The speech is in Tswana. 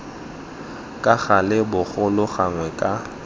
ka gale bogolo gangwe ka